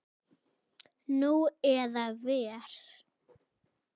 Nú eða verr.